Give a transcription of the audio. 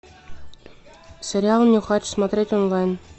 сериал нюхач смотреть онлайн